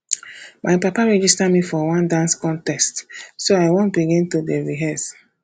my papa register me for one dance contest so i wan begin to dey rehearse